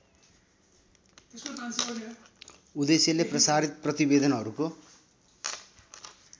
उद्देश्यले प्रसारित प्रतिवेदनहरुको